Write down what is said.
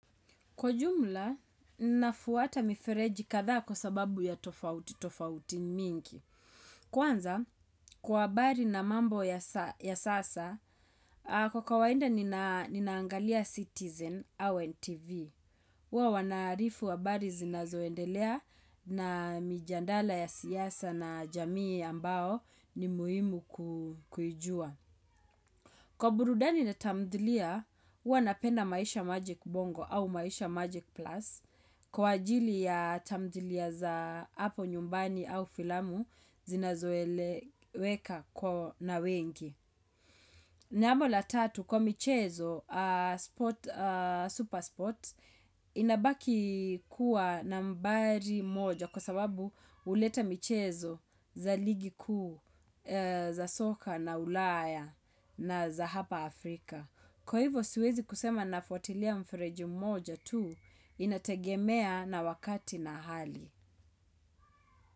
Kwa jumla, nafuata mifereji kadhaa kwa sababu ya tofauti, tofauti mingi. Kwanza, kwa bari na mambo ya sasa, kwa kawaida nina angalia citizen au NTV. Uwa wana arifu wa habari zinazo endelea na mijandala ya siyasa na jamii ambao ni muhimu ku kuijua. Kwa burudani na tamdhilia, hua napenda maisha magic bongo au maisha magic plus kwa ajili ya tamdhilia za hapo nyumbani au filamu zinazo eleweka kwa na wengi. Jambo la tatu kwa michezo, super sports, inabaki kuwa nambari moja kwa sababu uleta michezo za ligii kuu za soka na ulaya na za hapa Afrika. Kwa hivyo siwezi kusema nafuatilia mfereju mmoja tu inategemea na wakati na hali.